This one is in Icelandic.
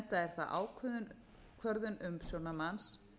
enda er það ákvörðun umsjónarmanns